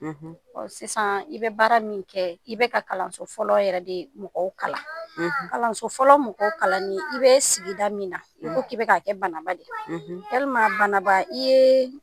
Ɔ sisan i bɛ baara min kɛ i bɛ ka kalanso fɔlɔ de mɔgɔw kalan, kalanso fɔlɔ mɔgɔw kalanni i bɛ sigida min na i ko k'i bɛk'a kɛ Bananba de walima Bananba i ye